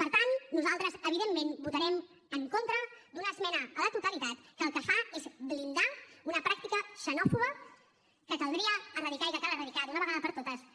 per tant nosaltres evidentment votarem en contra d’una esmena a la totalitat que el que fa es blindar una pràctica xenòfoba que caldria eradicar i que cal eradicar d’una vegada per totes